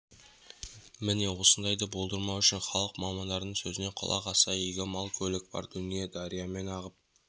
міне осындайды болдырмау үшін халық мамандардың сөзіне құлақ асса игі мал көлік бар дүние дариямен ағып